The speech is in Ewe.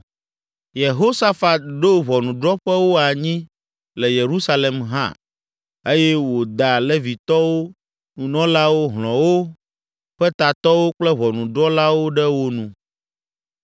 Yehosafat ɖo ʋɔnudrɔ̃ƒewo anyi le Yerusalem hã eye wòda Levitɔwo, nunɔlawo, hlɔ̃wo ƒe tatɔwo kple ʋɔnudrɔ̃lawo ɖe wo nu.